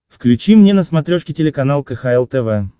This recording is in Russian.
включи мне на смотрешке телеканал кхл тв